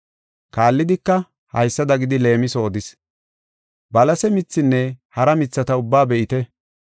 Kaallidika, haysada gidi leemiso odis; “Balase mithinne hara mithata ubbaa be7ite.